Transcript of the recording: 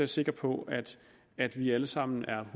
sikker på at vi alle sammen er